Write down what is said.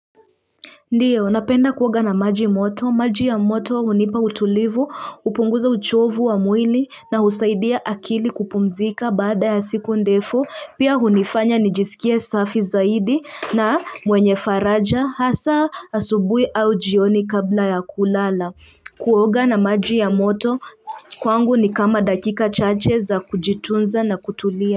Ndiyo, napenda kuoga na maji moto, maji ya moto hunipa utulivu, hupunguza uchovu wa mwili na husaidia akili kupumzika baada ya siku ndefu, pia hunifanya nijisikie safi zaidi na mwenye faraja, hasa asubuhi au jioni kabla ya kulala. Kuoga na maji ya moto kwangu ni kama dakika chache za kujitunza na kutulia.